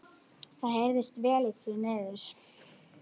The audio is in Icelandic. Það heyrðist vel í því niður.